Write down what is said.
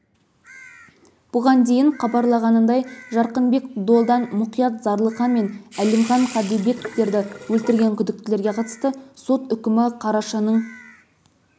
бұған дейін хабарлағанындай жарқынбек долдан мұқият зарлыхан мен әлімхан қаділбектерді өлтірген күдіктілерге қатысты сот үкімі қарашаның